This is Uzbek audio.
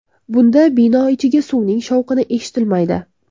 Bunda bino ichiga suvning shovqini eshitilmaydi.